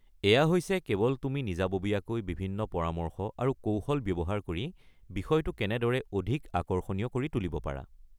এয়া হৈছে কেৱল তুমি নিজাববীয়াকৈ বিভিন্ন পৰামৰ্শ আৰু কৌশল ব্যৱহাৰ কৰি বিষয়টো কেনেদৰে অধিক আকৰ্ষণীয় কৰি তুলিব পাৰা।